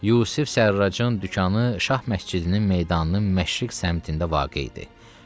Yusif Sərracın dükanı Şah Məscidinin meydanının Məşriq səmtində vaqe idi.